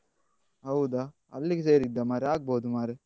ಹೌದಾ ಅಲ್ಲಿಗೆ ಸೇರಿದ್ದಾ ಮಾರೆ ಆಗ್ಬೋದು ಮಾರೆ.